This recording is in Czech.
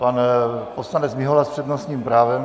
Pan poslanec Mihola s přednostním právem.